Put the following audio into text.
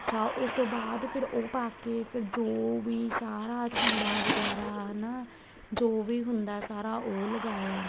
ਅੱਛਾ ਉਸ ਤੋਂ ਬਾਅਦ ਫ਼ੇਰ ਉਹ ਪਾਕੇ ਫ਼ੇਰ ਜੋ ਵੀ ਸਾਰਾ ਚੂੜਾ ਵਗੈਰਾ ਹੈਨਾ ਜੋ ਵੀ ਹੁੰਦਾ ਏ ਸਾਰਾ ਉਹ ਲਗਾਇਆ